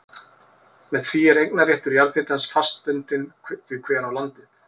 Með því er eignarréttur jarðhitans fast bundinn því hver á landið.